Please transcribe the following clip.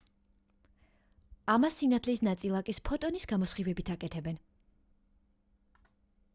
ამას სინათლის ნაწილაკის ფოტონის გამოსხივებით აკეთებენ